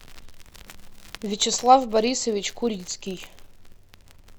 вячеслав борисович курицкий